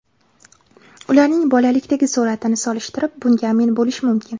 Ularning bolalikdagi suratini solishtirib, bunga amin bo‘lish mumkin.